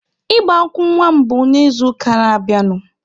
Ịgba nkwụ nwa mụ bụ n'izuụka na-abịanụ.